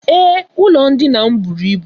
Ee, ụlọ ndina m bụrụ ịbụ.